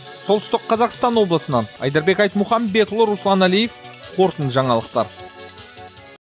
солтүстік қазақстан облысынан айдарбек айтмұхамбетұл руслан әлиев қорытынды жаңалықтар